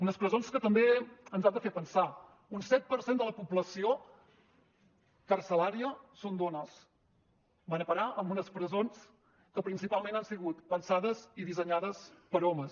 unes presons que també ens han de fer pensar un set per cent de la població carcerària són dones van a parar a unes presons que principalment han sigut pensades i dissenyades per a homes